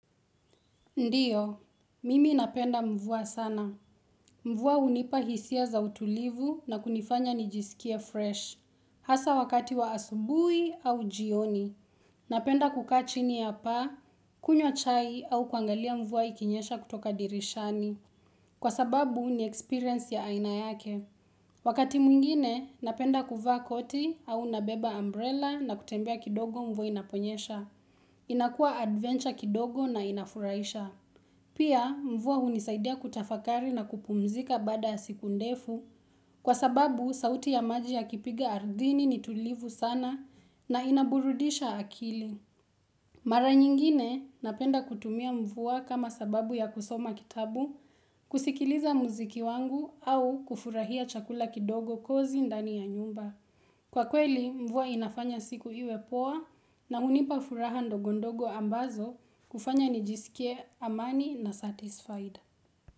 Ndiyo, mimi napenda mvua sana. Mvua unipa hisia za utulivu na kunifanya nijisikie fresh. Hasa wakati wa asubui au jioni. Napenda kukaa chini ya paa, kunywa chai au kuangalia mvua ikinyesha kutoka dirishani. Kwa sababu ni experience ya aina yake. Wakati mwingine, napenda kuvaa koti au nabeba umbrella na kutembea kidogo mvua inaponyesha. Inakua adventure kidogo na inafuraisha. Pia mvua hunisaidia kutafakari na kupumzika baada ya siku ndefu kwa sababu sauti ya maji yakipiga ardhini ni tulivu sana na inaburudisha akili. Mara nyingine napenda kutumia mvua kama sababu ya kusoma kitabu, kusikiliza muziki wangu au kufurahia chakula kidogo kozi ndani ya nyumba. Kwa kweli mvua inafanya siku iwe poa na hunipa furaha ndogondogo ambazo kufanya nijisikie amani na satisfied.